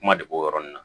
Kuma de b'o yɔrɔ nin na